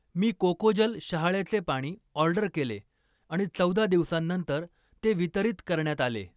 मी कोकोजल शहाळ्याचे पाणी ऑर्डर केले आणि चौदा दिवसांनंतर ते वितरित करण्यात आले.